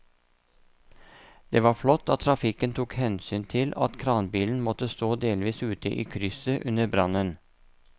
Det var flott at trafikken tok hensyn til at kranbilen måtte stå delvis ute i krysset under brannen.